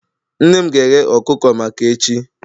Nne m ga-eghe ọkụkọ maka echi